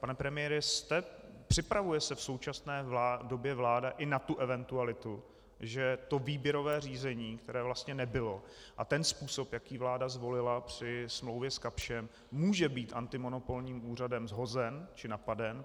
Pane premiére, připravuje se v současné době vláda i na tu eventualitu, že to výběrové řízení, které vlastně nebylo, a ten způsob, jaký vláda zvolila při smlouvě s Kapschem, může být antimonopolním úřadem shozen či napaden?